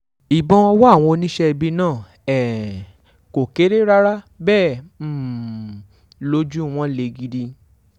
ìbọn ọwọ́ àwọn oníṣẹ́ ibi náà um kò kéré rárá bẹ́ẹ̀ um lójú wọn lé gidi